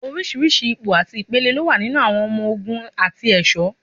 Oríṣìíríṣìí ipò àti ìpele ló wà nínú àwọn ọmọ ogun àti ẹ̀ṣọ̀.